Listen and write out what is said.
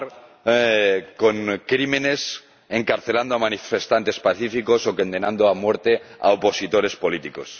cometer crímenes, encarcelando a manifestantes pacíficos o condenando a muerte a opositores políticos.